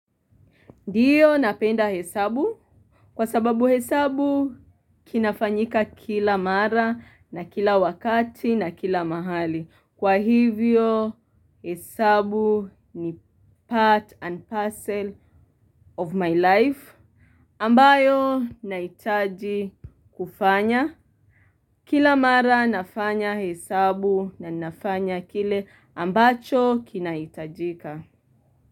Ndiyo napenda hesabu. Kwa sababu hesabu kinafanyika kila mara na kila wakati na kila mahali. Kwa hivyo hesabu ni part and parcel of my life. Ambayo nahitaji kufanya. Kila mara nafanya hesabu na ninafanya kile ambacho kinahitajika.